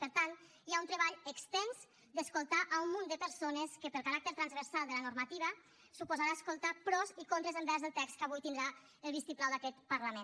per tant hi ha un treball extens d’escoltar un munt de persones que pel caràcter transversal de la normativa suposarà escoltar pros i contres envers el text que avui tindrà el vistiplau d’aquest parlament